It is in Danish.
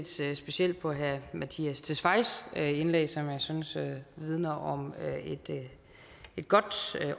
set specielt på herre mattias tesfayes indlæg som jeg synes vidner om et godt